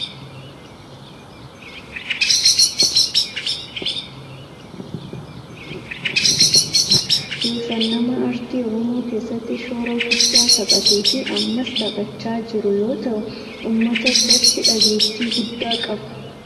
Suuraa kana irratti kan agarru weellisaa cimaa oromoo maqaan isaa Yoosan Geetahuun jedhamudha. Yoosan nama aartii oromoo keessatti shoora guddaa taphatee fi ammas taphachaa jiru yoo ta'u ummata biratti dhageettii guddaa qaba.